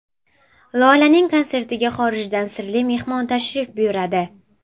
Lolaning konsertiga xorijdan sirli mehmon tashrif buyuradi.